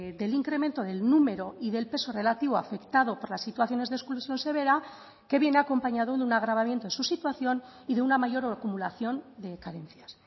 del incremento del número y del peso relativo afectado por las situaciones de exclusión severa que viene acompañado de un agravamiento de su situación y de una mayor acumulación de carencias